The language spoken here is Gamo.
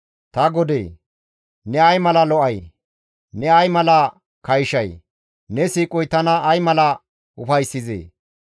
Ta godee! Ne ay mala lo7ay! Ne ay mala kayshay! Ne siiqoy tana ay mala ufayssizee!